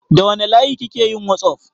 Da wanne layi kike yin whatsapp?